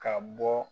Ka bɔ